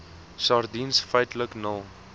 sardiens feitlik nul